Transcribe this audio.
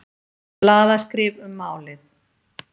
Blaðaskrif um málið